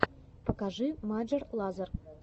покажи маджер лазер